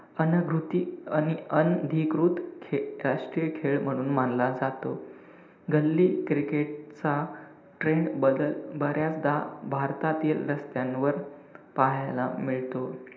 अनागृती~ अन~ अनधिकृत राष्ट्रीय खेळ म्हणून मानला जातो. गल्ली cricket चा trend बदल बऱ्याचदा भारतातील रस्त्यांवर पाहायला मिळतो.